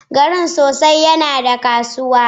Garin sosai yana da kasuwa